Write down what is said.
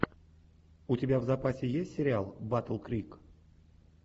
у тебя в запасе есть сериал батл крик